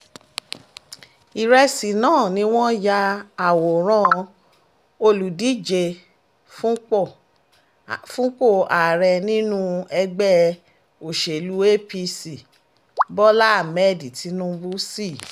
ìrẹsì náà ni wọ́n ya àwòrán olùdíje fúnpọ̀ ààrẹ nínú ẹgbẹ́ òsèlú apc bola hammed tinubu sí